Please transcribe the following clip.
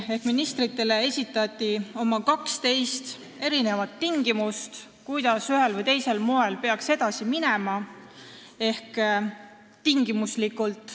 Ministritele esitati 12 tingimust, kuidas peaks ühel või teisel moel edasi minema.